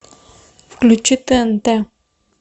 включи тнт